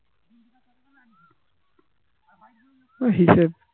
ও হিসেব